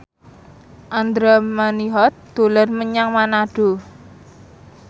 Andra Manihot dolan menyang Manado